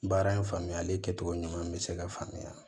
Baara in faamuyali kɛcogo ɲuman bɛ se ka faamuya